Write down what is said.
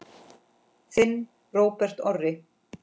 Þinn Róbert Orri.